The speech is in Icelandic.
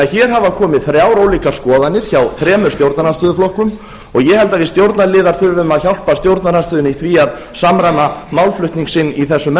hér hafa því komið þrjár ólíkar skoðanir hjá þremur stjórnarandstöðuflokkum og ég held að við stjórnarliðar þurfum að hjálpa stjórnarandstöðunni í því að samræma málflutning sinn í þessum